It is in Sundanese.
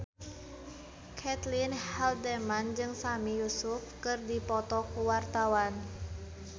Caitlin Halderman jeung Sami Yusuf keur dipoto ku wartawan